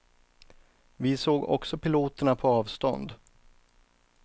Vi såg också piloterna på avstånd.